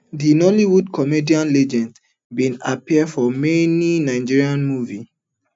di nollywood comedian legend bin appear for many nigerian movies